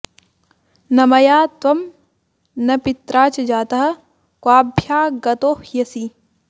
न मया त्वं न पित्रा च जातः क्वाभ्यागतोह्यसि